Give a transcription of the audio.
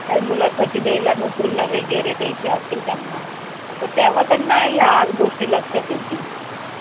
अगदी सोनेरी आठवणीसारखे येतात. माझ्या बालपणी वडिलांनी शिव्या दिल्यावर आई कुशीत घेऊन लपून बसत असे. आईचे लोरी ऐकत मला